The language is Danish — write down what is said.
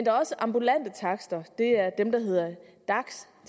er også ambulante takster det er dem der hedder dags